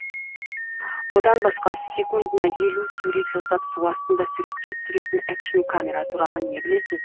одан басқа секундына елу сурет жасап су астында суретке түсіретін экшн камера туралы не білесіз